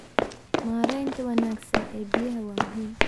Maareynta wanaagsan ee biyaha waa muhiim.